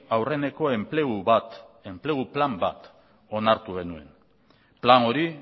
aurreneko enplegu bat enplegu plan bat onartu genuen plan hori